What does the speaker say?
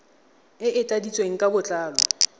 e e tladitsweng ka botlalo